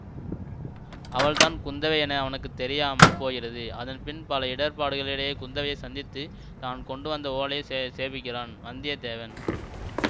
அவள்தான் குந்தவை என அவனுக்கு தெரியாமல் போகிறது அதன்பின் பல இடர்பாடுகளிடையே குந்தவையைச் சந்தித்து தான் கொண்டுவந்த ஓலையை சேசே சேர்ப்பிக்கின்றான் வந்திய தேவன்